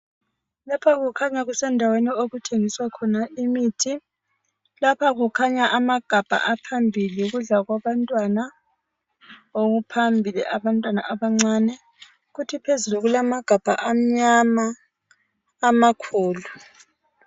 Lapha kukhanyakusendaweni okuthengiswa khona imithi lapha kukhanya amagabha aphambili yikudla kwabantwana okuphambili abantwana abancane kuthi phezulu kulamagabha amnyama amakhulu.